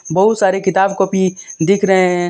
बहुत सारे किताब कॉपी दिख रहे हैं।